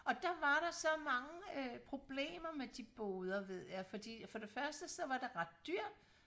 og der var der så mange øh problemer med de boder ved jeg fordi for det første så var det ret dyrt